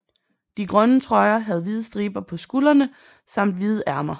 De grønne trøjer havde hvide striber på skulderne samt hvide ærmer